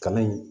Kalan in